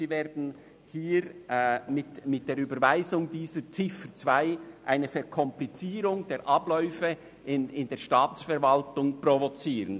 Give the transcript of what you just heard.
Sie werden mit der Überweisung der entsprechenden Ziffer 2 eine Verkomplizierung der Abläufe in der Staatsverwaltung provozieren.